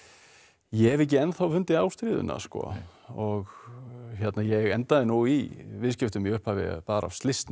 ég hef ekki ennþá fundið ástríðuna og ég endaði nú í viðskiptum í upphafi bara af slysni